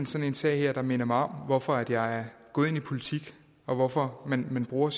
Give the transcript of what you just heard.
sådan en sag her der minder mig om hvorfor jeg er gået ind i politik og hvorfor man bruger